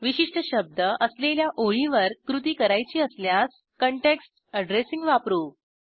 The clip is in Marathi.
विशिष्ट शब्द असलेल्या ओळीवर कृती करायची असल्यास काँटेक्स्ट अॅड्रेसिंग वापरू